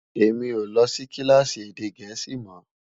èmi ọ ló Si kilaasi èdè gèésì mọ